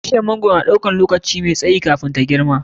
Bishiyar mangwaro na ɗaukan lokaci mai tsayi kafin ya girma.